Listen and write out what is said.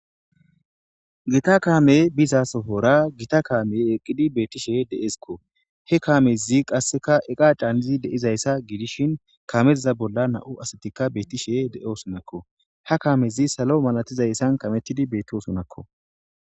Gita kamey bizasora Gita kamey eqidi dizaysi betishe de'esko he kamezi qase eqa canidi de'izaysa gidishin kameza bolla nam'u asati betishe de'osonako ha kamezi salo masatizaysan kametidi betosonako